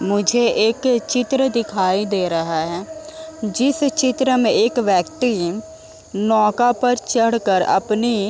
मुझे एक चित्र दिखाई दे रहा है जिस चित्र में एक व्यक्ति नौका पर चढ़ कर अपनी --